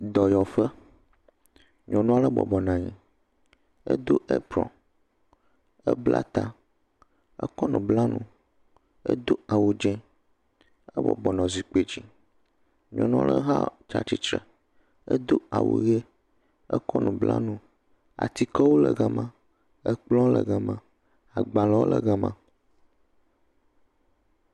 Dɔyɔƒe nyɔnu aɖe bɔbɔne anyi, edo aprɔn, ekɔ nu bla ta ekɔ nu bla nu edo awu dzɛ̃ ebɔbɔnɔ zikpui dzi. Nyɔnu aɖe hã tsi attire, edo awu ʋi akɔ nu bla nu etikewo le gama, ekplɔwo le gama, agbalẽwo hã le gama.